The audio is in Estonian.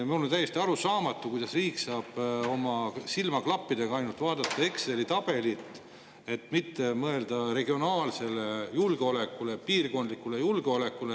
Mulle on täiesti arusaamatu, kuidas riik saab, silmaklapid ees, vaadata ainult Exceli tabelit ega mitte mõelda regionaalsele julgeolekule, piirkondlikule julgeolekule.